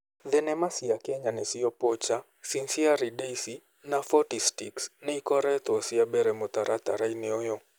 Thenema cia Kenya nĩcio Poacher, Sincerely Daisy na 40 Sticks nĩ ikoretwo cia mbere mũtaratara-inĩ ũyũ.